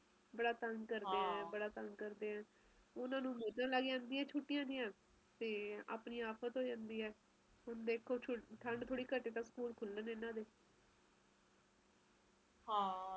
ਬਹੁਤ ਠੰਡੇ ਮੌਸਮ ਨੂੰ ਵੀ ਦੇਖ਼ ਲਿਆ ਤੇ ਬਹੁਤ ਗਰਮ ਨੂੰ ਵੀ ਦੇਖਾ ਗੇ ਲੇਕਿਨ ਆਪਣੇ ਬੱਚਿਆਂ ਨੂੰ ਤਾ ਪਤਾ ਹੀ ਨਹੀਂ ਚਲਣਾ ਕਿ ਪਹਿਲੇ ਕਿ ਹਾਲ ਹੁੰਦਾ ਸੀ ਉਹ ਸਿਰਫ ਕਹਾਣੀਆਂ ਚ ਸੁਨਣ ਗੇ ਕਿ ਹਾਂ ਜੀ ਪਹਿਲਾ ਏਦਾਂ ਰਹਿੰਦਾ ਸੀ ਸਭ ਕੁਜ ਓਹਨਾ ਨੂੰ ਤਾ ਕੁਜ ਪਤਾ ਹੀ ਨਹੀਂ ਚਲਣਾ